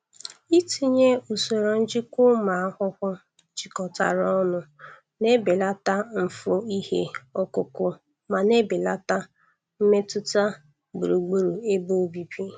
Itinye usoro njikwa ụmụ ahụhụ jikọtara ọnụ na-ebelata mfu ihe ọkụkụ ma na-ebelata mmetụta gburugburu ebe obibi.